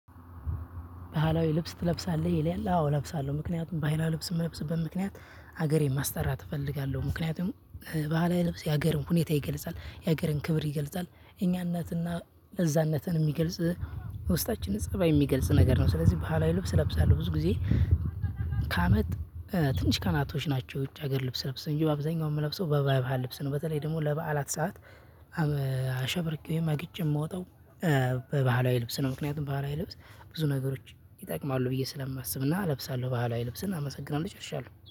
ባህላዊ ልብስ ትለብሳለህ ይላል? አዎ እለብሳለሁ ምክንያቱም ባህላዊ ልብስ የምንለብስበት ምክንያት ሀገሬን ማስጠራት እፈልጋለሁ ምክንያቱም ባህላዊ ልብስ የሀገርን ሁኔታ ይገልጻል የሀገርን ክብር ይገልጻል እኛነትና እዛነትን የሚገልጽ ውስጣችን ፀባይ የሚገልጽ ነገር ነው። ስለዚህ ባህላዊ ልብስ ለብሳለሁ ብዙ ጊዜ። ከአመት ትንሽ ቀናቶች ናቸው። ውጭ ሀገር ልብስ ምለብስ እንጂ በአብዛኛው የምለብሰው በባይብሃል ልብስ ነው። በተለይ ደግሞ ለበዓላት ሰዓት። አሸብርቄ ወይም አግጬ የምወጣው በባህላዊ ልብስ ነው። ምክንያቱም ባህላዊ ልብስ ብዙ ነገሮች ይጠቅማሉ ብዬ ስለማስብና እለብሳለሁ ባህላዊ ልብስን አመሰግናለሁ ጨርሻለሁ